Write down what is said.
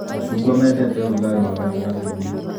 Macungwa mendete ũrugarĩ wa gatagatĩinĩ.